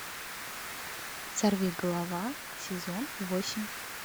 сорвиголова сезон восемь